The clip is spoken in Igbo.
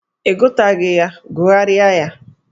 Ị gụtaghị ya, gụgharịa ya!